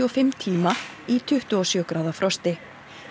og fimm tíma í tuttugu og sjö gráða frosti